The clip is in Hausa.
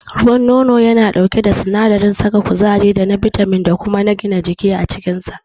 Ruwan nono yana ɗauke da sinadarin saka kuzari da na bitamin da kuma na gina jiki a cikinsa.